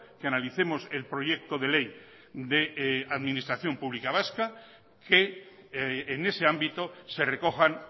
que analicemos el proyecto de ley de administración pública vasca que en ese ámbito se recojan